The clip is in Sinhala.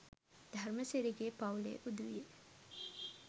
ධර්මසිරිගේ පවු‍ලේ උදවිය